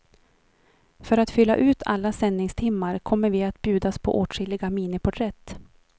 För att fylla ut alla sändningstimmar kommer vi att bjudas på åtskilliga miniporträtt.